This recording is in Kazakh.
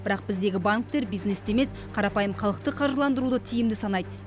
бірақ біздегі банктер бизнесті емес қарапайым халықты қаржыландыруды тиімді санайды